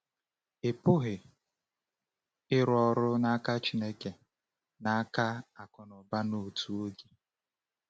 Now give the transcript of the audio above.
Ị pụghị ịrụ ọrụ n’aka Chineke na n’aka akụnụba n’otu oge.